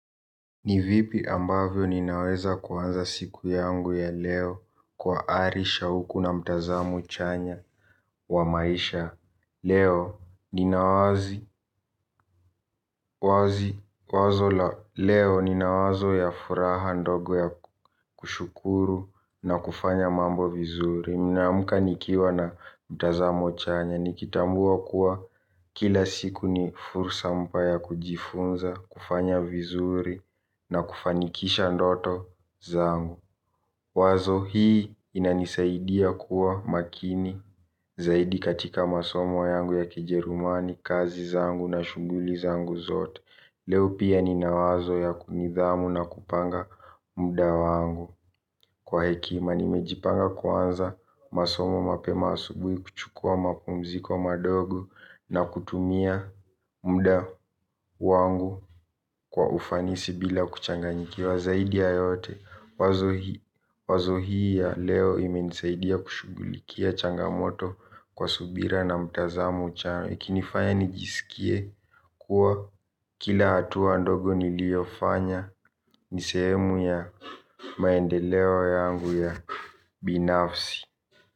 Ni vipi ambavyo ninaweza kuanza siku yangu ya leo kwa ari shauku na mtazamo chanya wa maisha. Leo nina wazi wazo la leo nina wazo ya furaha ndogo ya kushukuru na kufanya mambo vizuri nimeamka nikiwa na mtazamo chanya nikitambua kuwa kila siku ni fursa mpya ya kujifunza. Kufanya vizuri na kufanikisha ndoto zangu. Wazo hii inanisaidia kuwa makini zaidi katika masomo yangu ya kijerumani kazi zangu na shughuli zangu zote. Leo pia nina wazo ya nidhamu na kupanga muda wangu. Kwa hekima nimejipanga kuanza masomo mapema asubuhi kuchukua mapumziko madogo. Na kutumia muda wangu kwa ufanisi bila kuchanganyikiwa zaidi ya yote. Wazo hii ya leo imenisaidia kushughulikia changamoto kwa subira na mtazamo chanya ikinifanya nijisikie kuwa kila hatua ndogo niliofanya ni sehemu ya maendeleo yangu ya binafsi.